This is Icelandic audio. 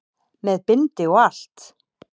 Með bindi og allt!